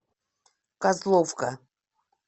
козловка